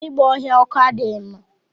Igba ọhịa ọkụ adịghị mma.